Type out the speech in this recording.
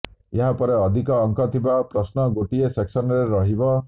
ଏହା ପରେ ଅଧିକ ଅଙ୍କ ଥିବା ପ୍ରଶ୍ନ ଗୋଟିଏ ସେକ୍ସନରେ ରହିବ